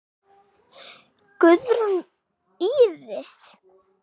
Guðrún Íris.